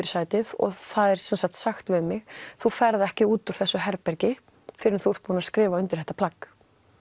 í sætið og það er sagt við mig þú ferð ekki út úr þessu herbergi fyrr en þú ert búin að skrifa undir þetta plagg